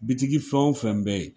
Bitigi fɛn wo fɛn bɛ yen.